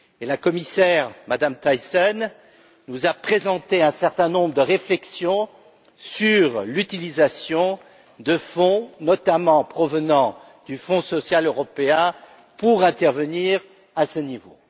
La commissaire Thyssen nous a présenté un certain nombre de réflexions sur l'utilisation de fonds, notamment provenant du Fonds social européen, pour intervenir à ce niveau.